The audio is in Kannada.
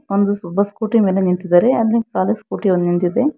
ಒಂದು ಒಬ್ಬ ಸ್ಕೂಟಿ ಮೇಲೆ ನಿಂತಿದ್ದಾರೆ ಅಲ್ಲಿ ಖಾಲಿ ಸ್ಕೂಟಿ ಒಂದ ನಿಂತಿದೆ.